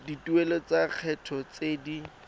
dituelo tsa lekgetho tse di